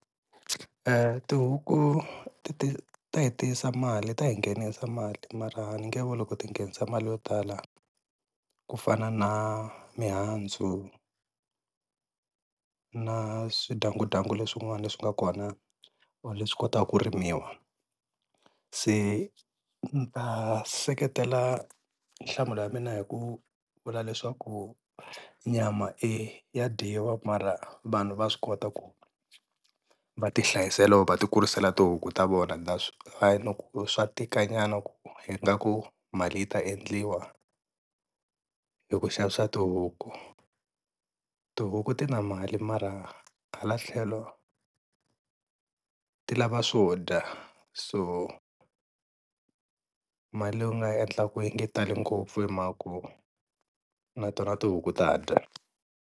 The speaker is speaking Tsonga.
Eeh, tihuku ti ta yi tisa mali ta yi nghenisa mali mara ni nge vuli loko ti nghenisa mali yo tala ku fana na mihandzu na swidyangudyangu leswin'wana leswi nga kona or leswi kotaka ku rimiwa se ni seketela nhlamulo ya mina hi ku vula leswaku nyama e ya dyiwa mara vanhu va swi kota ku va ti hlayisela va ti kurisela tihuku ta vona, na swa tika nyana ku hi nga ku mali yi ta endliwa hi ku xavisa tihuku. Tihuku ti na mali mara hala tlhelo ti lava swo dya so mali leyi u nga yi endlaku yi nge tali ngopfu hi mhaka ku na tona tihuku ta dya.